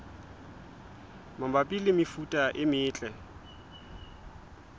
mabapi le mefuta e metle